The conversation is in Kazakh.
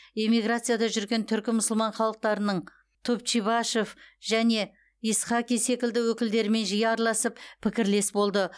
эмиграцияда жүрген түркі мұсылман халықтарының топчибашев және исхаки секілді өкілдерімен жиі араласып пікірлес болды